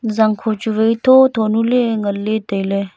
zangkho chu vai tho tho nu ley nganley tailey.